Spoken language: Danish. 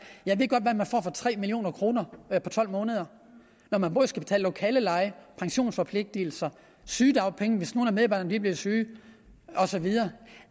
jeg ved godt hvad man får for tre million kroner på tolv måneder når man både skal betale lokaleleje pensionsforpligtelser sygedagpenge hvis nogle af medarbejderne bliver syge og så videre